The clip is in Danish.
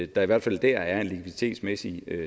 der i hvert fald der er en likviditetsmæssig